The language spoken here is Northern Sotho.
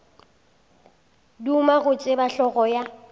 duma go tseba hlogo ya